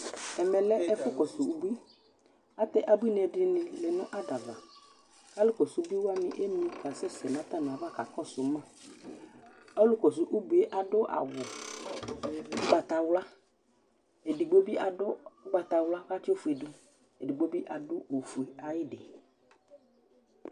Ɛmɛ lɛ ɛfʋkɔsʋ ubui Atɛ abuinɩ dɩnɩ lɛ nʋ ada ava kʋ alʋkɔsʋ ubui wanɩ emli kasɛsɛ nʋ atamɩava kakɔsʋ ma Ɔlʋkɔsʋ ubui adʋ awʋ ʋgbatawla, edigbo bɩ adʋ ʋgbatawla kʋ atsɩ ofue dʋ Edigbo bɩ adʋ ofue ayɩdɩ